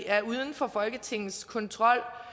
er uden for folketingets kontrol